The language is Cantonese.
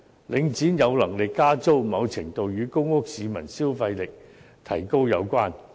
領展有能力加租，某程度上與公屋市民消費力提高有關。